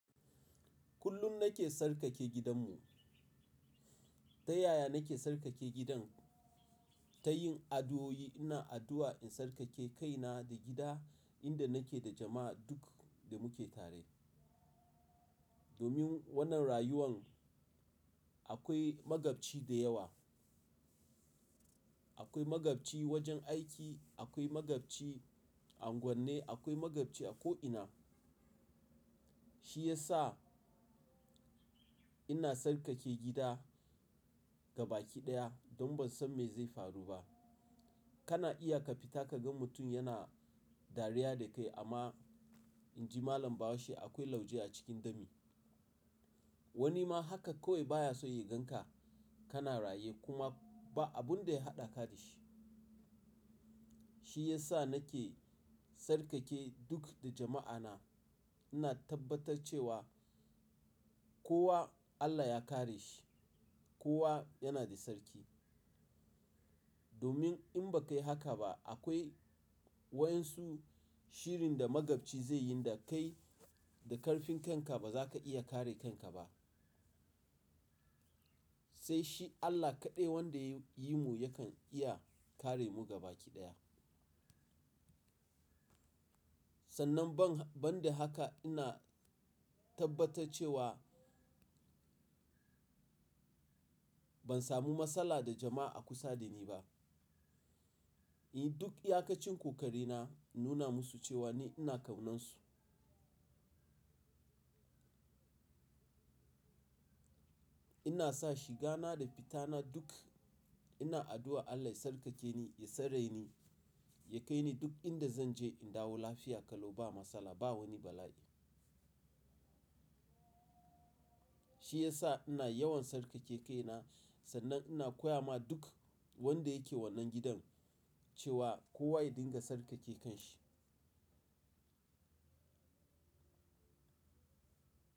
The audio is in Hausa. Kullum nake sarƙake gidanmu. Ta yaya nake sarƙake gidan? Ta yin addu'o'i. Ina addu'a in tsarƙake kaina da gida inda nake da jama'a duk da muke tare. Domin wannan rayuwan akwai magabci da yawa. Akwai magabci wajen aiki, akwai magabci a unguwanne, akwai magabci a ko'ina. Shi ya sa ina tsarƙake gida ga baki ɗaya don ban san me zai faru ba. Kana iya ka fita ka ga mutum yana dariya da kai amma in ji malam Bahaushe akwai lauje a cikin dami. Wani ma haka kawai baya so ya gan ka, kana raye kuma ba abun da ya haɗa ka da shi. Shi ya sa nake sarƙake duk da jama'ana. Ina tabbatar cewa kowa Allah ya kare shi, kowa yana da sarki. Domin in bakayi haka ba akwai waɗansu shirin da magabci zai yi da kai da karfin kanka ba za ka iya kare kanka ba. Sai shi Allah kaɗai wanda yayi mu yakan iya kare mu gabaɗaya. Sannan ban, ban da haka ina tabbatar cewa ban samu matsala da jama'a kusa da ni ba. In duk iyakacin kokarina nuna musu cewa ni ina kaunansu. Ina sa shiga na da fita na duk ina addu'a Allah ya sarƙake ni, ya tsare ni, ya kai ni duk inda zan je in dawo lafiya kalau ba matsala, ba wani bala'i. Shi ya sa ina yawan sarƙake kaina sannan ina koya ma duk wanda yake wannan gidan cewa kowa ya dinga sarƙake kanshi.